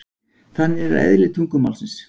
þannig er eðli tungumálsins